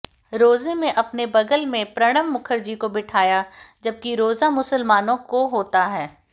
रोजे में अपने बगल में प्रणव मुखर्जी को बिठाया जबकि रोजा मुसलमानों को होता है